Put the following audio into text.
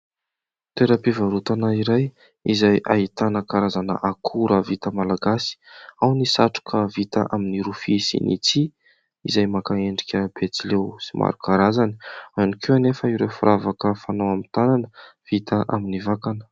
Toeram-pivarotana iray izay ahitana karazana akora vita malagasy. Ao ny satroka vita amin'ny rofia sy ny tsihy izay maka endrika betsileo sy maro karazany. Ao ihany koa anefa ireo firavaka fanao amin'ny tanana vita amin'ny vakana.